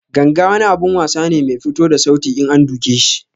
Ganga wani abun wasa ne Mai fito da sauti in an duke sa.